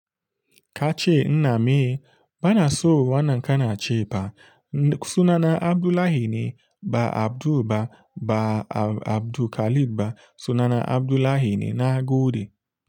Kace ina me? Bana so wannan kana ce ba. Sunana Abdullahi ne ba Abdul ba, ba Abdu Khalid ba. Sunana Abdullahi ne na gode.